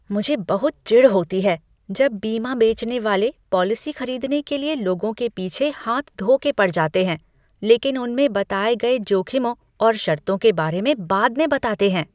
मुझे बहुत चिढ़ होती है जब बीमा बेचने वाले पॉलिसी खरीदने के लिए लोगों के पीछे हाथ धो के पड़ जाते हैं लेकिन उनमें बताए गए जोखिमों और शर्तों के बारे में बाद में बताते हैं।